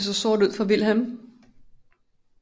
Det så sort ud for Vilhelm